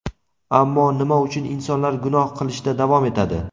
ammo nima uchun insonlar gunoh qilishda davom etadi?.